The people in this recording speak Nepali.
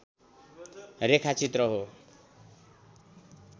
रेखा चित्र हो